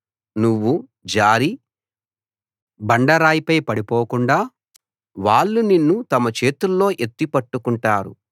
నువ్వు జారి బండ రాయిపై పడిపోకుండా వాళ్ళు నిన్ను తమ చేతుల్లో ఎత్తి పట్టుకుంటారు